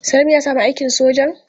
Salim ya sami aikin sojan?